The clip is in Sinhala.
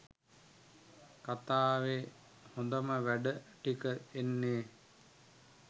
කථාවේ හොඳම වැඩ ටික එන්නේ.